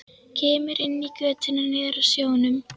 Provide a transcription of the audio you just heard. Kemur inn í götuna niður að sjónum.